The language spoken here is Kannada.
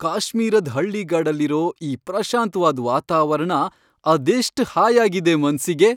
ಕಾಶ್ಮೀರದ್ ಹಳ್ಳಿಗಾಡಲ್ಲಿರೋ ಈ ಪ್ರಶಾಂತ್ವಾದ್ ವಾತಾವರ್ಣ ಅದೆಷ್ಟ್ ಹಾಯಾಗಿದೆ ಮನ್ಸಿಗೆ.